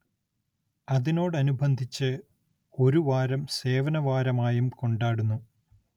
അതിനോടനിബന്ധിച്ച് ഒരു വാരം സേവനവാരമായും കൊണ്ടാടുന്നു.